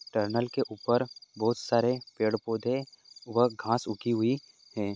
Tunnel के ऊपर बहुत सारे पेड़ पौधे वह घाँस उगी हुई है।